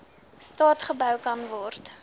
staat gebou kanword